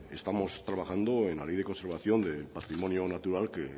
estamos trabajando en la ley de conservación de patrimonio natural que